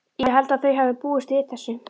Ég held að þau hafi búist við þessu.